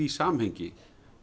samhengi